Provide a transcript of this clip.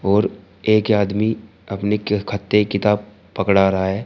और एक आदमी अपने खत्ते किताब पकड़ा रहा है।